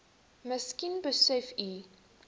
miskien besef u